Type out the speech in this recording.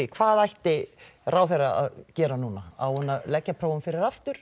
hvað ætti ráðherra að gera núna á hún að leggja prófin fyrir aftur